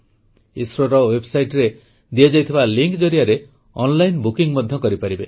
ଇସ୍ରୋର ୱେବ୍ସାଇଟରେ ଦିଆଯାଇଥିବା ଲିଙ୍କ୍ ଜରିଆରେ ଅନ୍ଲାଇନ୍ ବୁକିଂ ମଧ୍ୟ କରିପାରିବେ